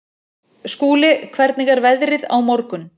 Skúli, hvernig er veðrið á morgun?